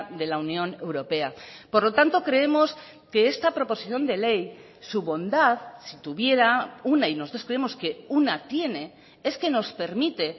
de la unión europea por lo tanto creemos que esta proposición de ley su bondad si tuviera una y nosotros creemos que una tiene es que nos permite